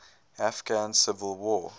afghan civil war